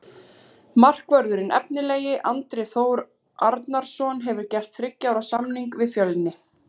Markvörðurinn efnilegi Andri Þór Arnarson hefur gert þriggja ára samning við Fjölni.